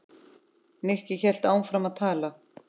Nikki hélt áfram að tala.